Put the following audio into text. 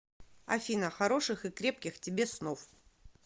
афина хороших и крепких тебе снов